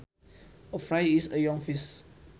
A fry is a young fish